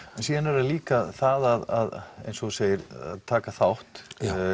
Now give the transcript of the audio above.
síðan er það líka það eins og þú segir að taka þátt